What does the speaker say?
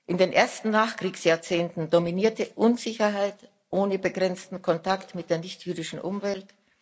In den ersten Nachkriegsjahrzehnten dominierte Unsicherheit ohne begrenzten Kontakt mit der nichtjüdischen Umwelt.